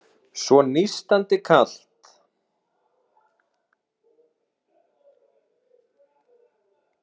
Svo nístandi kalt.